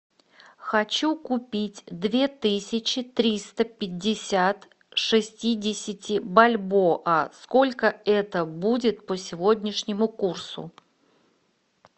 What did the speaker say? хочу купить две тысячи триста пятьдесят шестидесяти бальбоа сколько это будет по сегодняшнему курсу